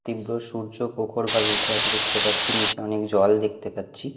তীব্র সূর্য প্রখরভাবে উঠে আছে দেখতে পাচ্ছি নীচে অনেক জল দেখতে পাচ্ছি।